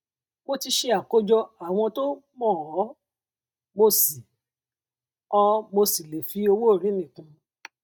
mo ti ṣe àkójọ àwọn tó mọ ọ mo sì ọ mo sì lè fi owóorí míì kún un